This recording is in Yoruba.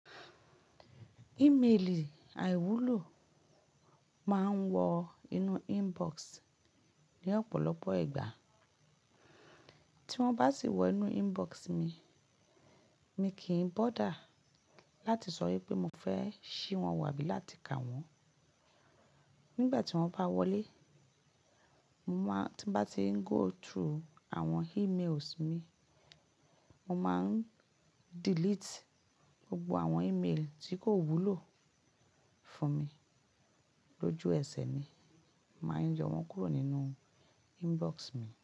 Email àìwúlò máa ń wọ inú inbox ní ọ̀pọ̀lọpọ̀ ìgbà. Tí wọ́n bá sì wọ inú inbox mi, mi kì ín bọ̀dá láti sọ wípé mo fẹ́ ṣí wọ́n wo abí láti kà wọ́n. Nígbà tí wọ́n bá wọlé, mo máa tí mbá ti ń go through àwọn emails mi, mo máa ń delete gbogbo àwọn email tí kò wúlò fún mi lójú ẹsẹ̀ ni. Máa ń yo wọ́n kúrò nínú inbox mi.